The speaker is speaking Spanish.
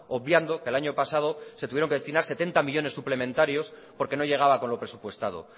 obviando que el año pasado se tuvieron que destinar setenta millónes suplementarios porque no llegaba con lo presupuestado